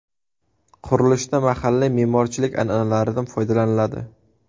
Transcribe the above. Qurilishda mahalliy me’morchilik an’analaridan foydalaniladi.